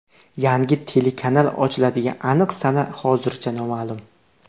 Yangi telekanal ochiladigan aniq sana hozircha noma’lum.